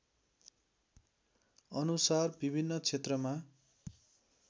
अनुसार विभिन्न क्षेत्रमा